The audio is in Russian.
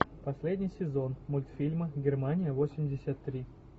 последний сезон мультфильма германия восемьдесят три